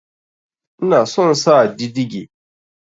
Ina son sa didige